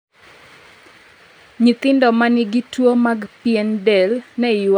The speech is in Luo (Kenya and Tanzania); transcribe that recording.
Nyithindo ma nigi tuwo mag pien del ne ywak ni owegi